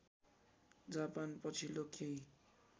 Japan पछिल्लो केही